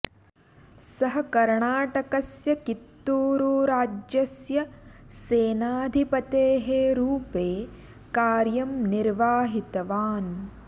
सः कर्णाटकस्य कित्तूरु राज्यस्य सेनाधिपतेः रूपे कार्यं निर्वाहितवान्